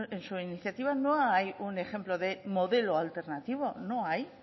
en su iniciativa no hay un ejemplo de modelo alternativo no hay